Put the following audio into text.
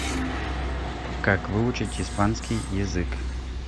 как выучить испанский язык